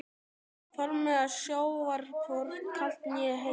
Faðmlag sjávar hvorki kalt né heitt.